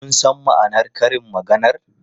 Kun san ma'anar karin maganar?